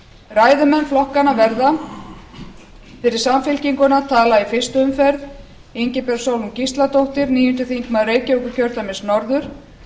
ræðumenn flokkanna verða fyrir samfylkinguna talar í fyrstu umferð ingibjörg sólrún gísladóttur níundi þingmaður reykjavíkurkjördæmis norður